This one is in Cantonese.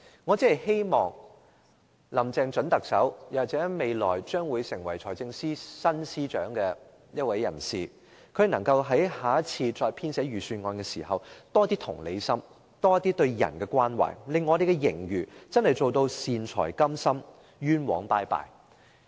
我只是希望準特首林鄭月娥或下任財政司司長在編寫下一份預算案時展現更大的同理心和對人的關懷，可以用盈餘做到"善財甘心，冤枉再見"。